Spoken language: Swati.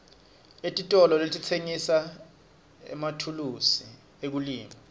titolo letitsengisa emathulusi ekulima